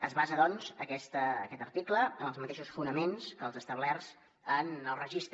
es basa doncs aquest article en els mateixos fonaments que els establerts en el registre